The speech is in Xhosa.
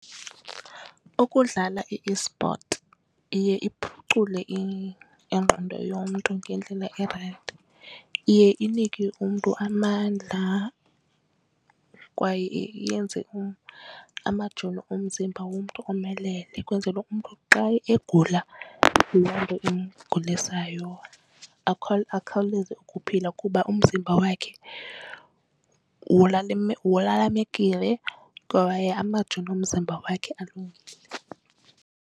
Ukudlala iesport iye iphucule ingqondo yomntu ngendlela erayithi. Iye inike umntu amandla kwaye iyenze amajoni omzimba womntu omelele ukwenzelwe umntu xa egula loo nto imgulisayo akhawuleze ukuphila kuba umzimba wakhe walalamekile kwaye amajoni omzimba wakhe alungile.